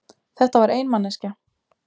Þetta var ein manneskja.